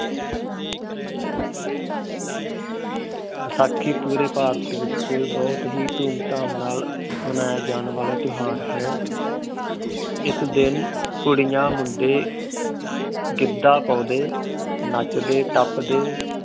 ਬੈਸਾਖੀ ਪੂਰੇ ਭਾਰਤ ਵਿਚ ਬੜੇ ਹੈ ਧੂਮ ਧਾਮ ਨਾਲ ਮਨਾਇਆ ਜਾਣ ਵਾਲਾ ਤਿਉਹਾਰ ਹੈ। ਏਸ ਦਿਨ ਕੁੜੀਆ ਮੁੰਡੇ ਗਿੱਧਾ ਪਾਉਂਦੇ ਨੱਚਦੇ ਟਪਦੇ